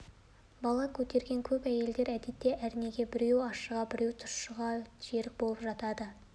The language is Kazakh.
үкібала оянып алып әлде бірақ саулы арманына жете алмай қалғандай хәл кешіп көпке дейін қатты өкініпті